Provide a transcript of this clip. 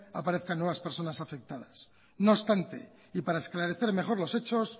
aparezcan nuevas personas afectadas no obstante y para esclarecer mejor los hechos